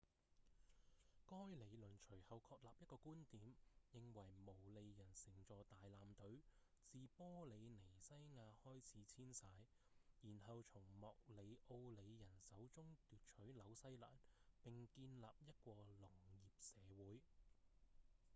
該理論隨後確立一個觀點認為毛利人乘坐大艦隊自玻里尼西亞開始遷徙然後從莫里奧里人手中奪取紐西蘭並建立一個農業社會